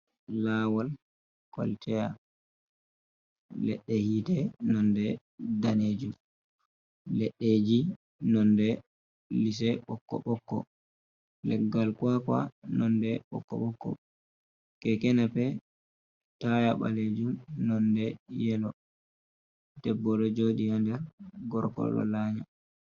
Lawol kwataya, leɗɗe hite nonde danejum, leɗɗeji nonde lise ɓokko ɓokko. Leggal kwakwa nonde ɓokko ɓokko. Kekenapep taya balejum nonde yelo, debbo ɗo joɗi ha nder, gorko ɗo lanya.